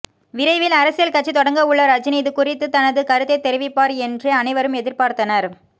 விரைவில் அரசியல் கட்சி தொடங்கவுள்ள ரஜினி இதுகுறித்து தனது கருத்தை தெரிவிப்பார் என்றே அனைவரும் எதிர்பார்த்தனர்